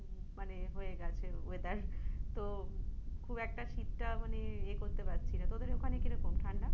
মানে হয়ে গেছে weather তো খুব একটা শীতটা মানে ইয়ে করতে পারছিনা তোদের ওখানে কীরকম ঠাণ্ডা?